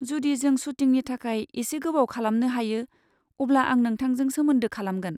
जुदि जों सुटिंनि थाखाय एसे गोबाव खालामनो हायो, अब्ला आं नोंथांजों सोमोन्दो खालामगोन।